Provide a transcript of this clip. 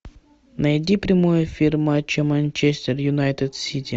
найди прямой эфир матча манчестер юнайтед сити